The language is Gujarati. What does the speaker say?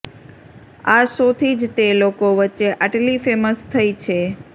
આ શો થી જ તે લોકો વચ્ચે આટલી ફેમસ થઇ છે